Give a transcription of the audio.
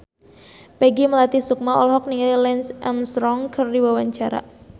Peggy Melati Sukma olohok ningali Lance Armstrong keur diwawancara